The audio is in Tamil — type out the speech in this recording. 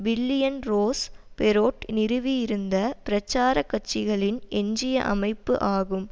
பில்லியன் ரோஸ் பெரொட் நிறுவியிருந்த பிரச்சார கட்சிகளின் எஞ்சிய அமைப்பு ஆகும்